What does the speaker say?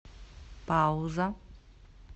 пауза